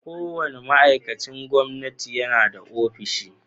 Kowane ma'aikacin gwamnati yana da ofishi.